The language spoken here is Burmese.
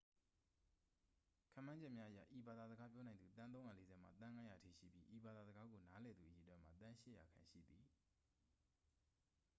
ခန့်မှန်းချက်များအရ ဤဘာသာစကားပြောနိုင်သူ သန်း 340 မှ သန်း 500 အထိရှိပြီး ဤဘာသာစကားကို နားလည်သူအရေအတွက်မှာ သန်း 800 ခန့် ရှိသည်